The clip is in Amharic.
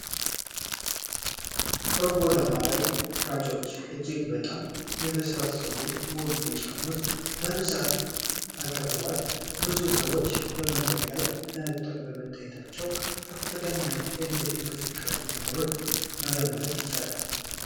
የጎዳና ላይ ሻጮች እጅግ በጣም የበሰሉና ውብ ቢጫ ሙዝ በብዛት አቅርበዋል። ብዙ ሰዎች መንገድ ላይ በመታየታቸው ከፍተኛ የንግድ እንቅስቃሴ መኖሩን መገመት ይቻላል።